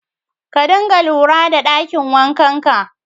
Ka dina lura da ɗakin wankanka